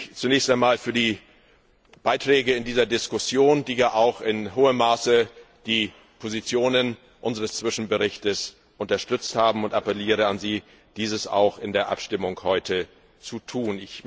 Ich bedanke mich zunächst einmal für die Beiträge zu dieser Diskussion, die ja auch in hohem Maße die Positionen unseres Zwischenberichts unterstützt haben, und appelliere an Sie, dies auch in der Abstimmung heute zu tun.